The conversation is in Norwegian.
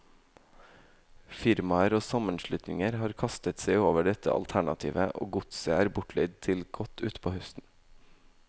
Firmaer og sammenslutninger har kastet seg over dette alternativet, og godset er bortleid til godt utpå høsten.